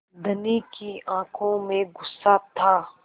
धनी की आँखों में गुस्सा था